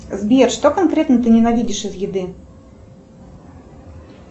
сбер что конкретно ты ненавидишь из еды